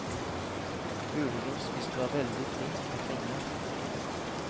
Muligens hvis du er veldig flink med penger.